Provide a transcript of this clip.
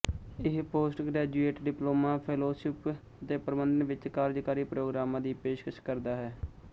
ਇਹ post graduate diploma fellowship ਅਤੇ ਪ੍ਰਬੰਧਨ ਵਿੱਚ ਕਾਰਜਕਾਰੀ ਪ੍ਰੋਗਰਾਮਾਂ ਦੀ ਪੇਸ਼ਕਸ਼ ਕਰਦਾ ਹੈ